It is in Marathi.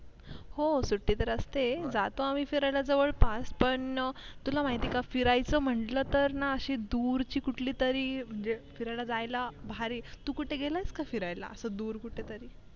हो सुटी तर असते जातो आम्ही फिरायला जवळ पास पण तुला माहित ये का फिरायचं म्हटलं तर ना. अशी दूर कुठली तरी म्हणजे फिरायला जायला भारी तू कुठे गेलास का फिरायला असं दूर कुठे तरी